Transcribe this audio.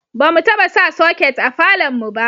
ba mu taba sa soket a falon mu ba